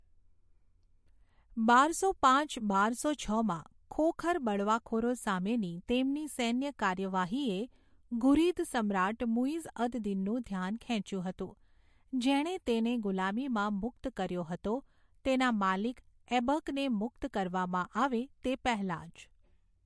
બારસો પાંચ બારસો છમાં ખોખર બળવાખોરો સામેની તેમની સૈન્ય કાર્યવાહીએ ઘુરિદ સમ્રાટ મુઇઝ અદ દિનનું ધ્યાન ખેંચ્યું હતું, જેણે તેને ગુલામીમાં મુક્ત કર્યો હતો, તેના માલિક ઐબકને મુક્ત કરવામાં આવે તે પહેલાં જ.